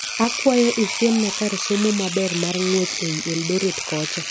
Akwayo isiemna kar somo maber mar ngwech eiy Eldoret kocha